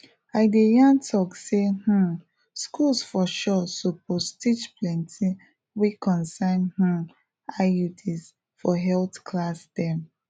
e this common story wey people dey believe sey vaccine fit change dna so emake hospital to chandeir plans